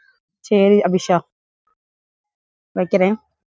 சரி, அபிஷா. வைக்கிறேன்.